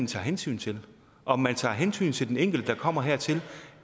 tager hensyn til om man tager hensyn til den enkelte der kommer hertil